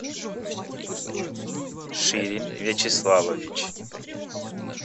ширин вячеславович